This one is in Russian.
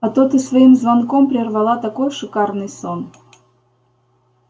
а то ты своим звонком прервала такой шикарный сон